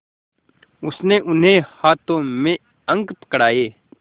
उसने उन्हें हाथों में अंक पकड़ाए